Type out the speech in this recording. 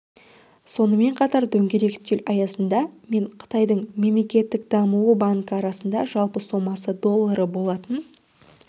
сонымен қатар дөңгелек үстел аясында мен қытайдың мемлекеттік даму банкі арасында жалпы сомасы доллары болатын